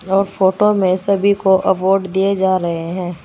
यह फोटो में सभी को अवॉर्ड दिए जा रहे हैं।